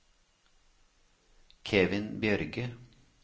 Kevin Bjørge